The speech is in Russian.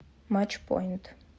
матчпоинт